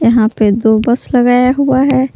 यहां पे दो बस लगाया हुआ है।